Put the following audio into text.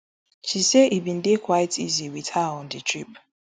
she say e bin dey quite easy wit her on di trip